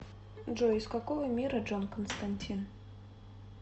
джой из какого мира джон константин